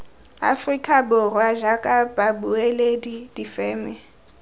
aforika borwa jaaka babueledi difeme